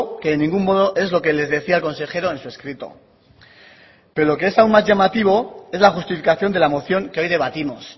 que en ningún modo es lo que les decía el consejero en su escrito pero es lo que es aún más llamativo es la justificación de la moción que hoy debatimos